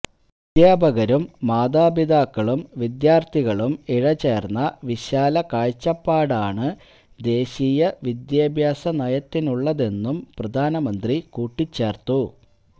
അദ്ധ്യാപകരും മാതാപിതാക്കളും വിദ്യാര്ത്ഥികളും ഇഴചേര്ന്ന വിശാല കാഴ്ചപ്പാടാണ് ദേശീയ വിദ്യാഭ്യാസനയത്തിനുള്ളതെന്നും പ്രധാനമന്ത്രി കൂട്ടിച്ചേര്ത്തു